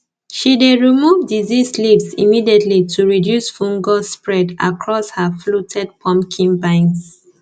she dey remove diseased leaves immediately to reduce fungus spread across her fluted pumpkin vines